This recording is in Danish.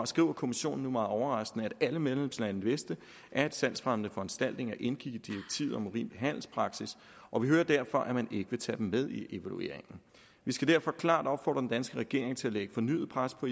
skriver kommissionen nu meget overraskende at alle medlemslande vidste at salgsfremmende foranstaltninger indgik i direktivet om urimelig handelspraksis og vi hører derfor at man ikke vil tage dem med i evalueringen vi skal derfor klart opfordre den danske regering til at lægge fornyet pres på